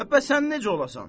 Ə bəs sən necə olasan?